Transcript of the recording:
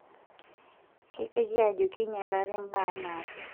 Keiteki ajo keinyalari mbaa anaake.